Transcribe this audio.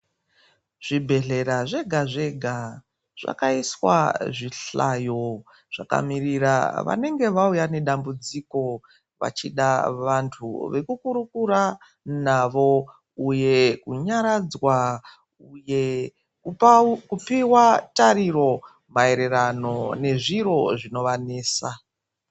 Zvibhedhlera zvega zvega zvakaiswa zvihlayo zvakamirira vanenge vauya nedambudziko vachida vantu vekukurukura navo uye kunyaradzwa uye kupiwa tariro maererano nezviro zvonovanesa.